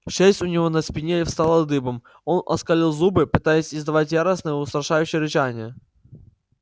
шерсть у него на спине встала дыбом он оскалил зубы пытаясь издавать яростное устрашающее рычание